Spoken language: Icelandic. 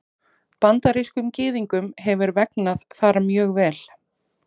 Bandarískum Gyðingum hefur vegnað þar mjög vel.